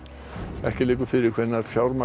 ekki liggur fyrir hvenær fjármagn